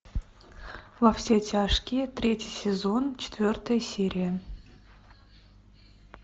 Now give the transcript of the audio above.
во все тяжкие третий сезон четвертая серия